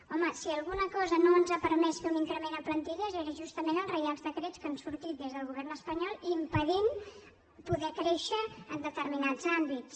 home si alguna cosa no ens ha permès fer un increment en plantilles són justament els reials decrets que han sortit des del govern espanyol impedint poder créixer en determinats àmbits